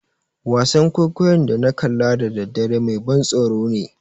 Wasan kwaikwayon da na kalla da daddare mai ban tsoro ne.